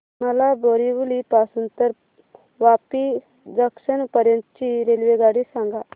मला बोरिवली पासून तर वापी जंक्शन पर्यंत ची रेल्वेगाडी सांगा